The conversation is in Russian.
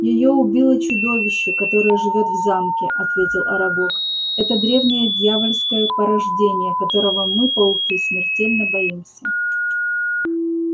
её убило чудовище которое живёт в замке ответил арагог это древнее дьявольское порождение которого мы пауки смертельно боимся